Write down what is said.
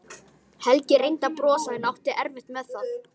Helgi reyndi að brosa en átti erfitt með það.